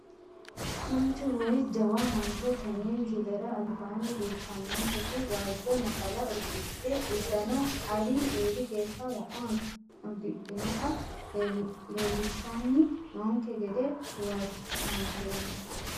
Mancho woyi jawa mancho tene misilera albaani leeltanonketi waajo naxala udidhe udano alii eeli geesha wo`ma udidhinota leelishani noonke gede huwanteemo.